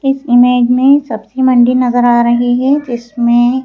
इस इमेज में सब्जी मंडी नजर आ रही हैजिसमें--